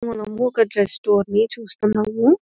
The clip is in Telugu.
మనము ఒక డ్రెస్ స్టోర్ ని చూస్తున్నాము.